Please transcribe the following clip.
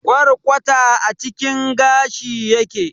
Kwarkwata a cikin gashi yake.